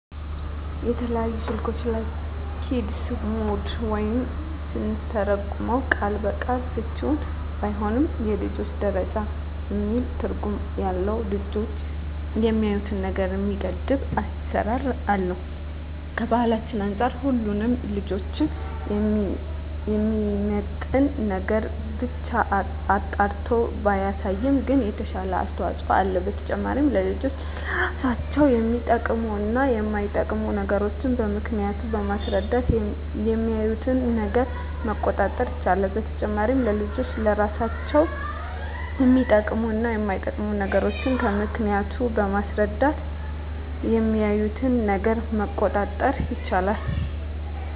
በተለያዩ ስልኮች ላይ "ኪድስ ሞድ" ወይም ስንተረጉመው ቃል በቃል ፍችውም ባይሆን የልጆች ደረጃ የሚል ትርጉም ያለው ልጆች የሚያዪትን ነገር የሚገድብ አሰራር አለ። ከባህላችን አንፃር ሁሉንም ልጆችን የሚመጥን ነገርን ብቻ አጣርቶ ባያሳይም ግን የተሻለ አስተዋጽኦ አለው። በተጨማሪም ለልጆች ለራሳቸው የሚጠቅሙ እና የማይጠቅሙ ነገሮችን ከነምክንያቱ በማስረዳት የሚያዪትን ነገር መቆጣጠር ይቻላል። በተጨማሪም ለልጆች ለራሳቸው የሚጠቅሙ እና የማይጠቅሙ ነገሮችን ከነምክንያቱ በማስረዳት የሚያዪትን ነገር መቆጣጠር ይቻላል።